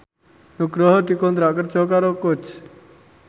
Nugroho dikontrak kerja karo Coach